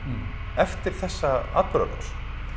eftir þessa atburðarás